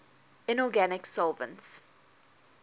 inorganic solvents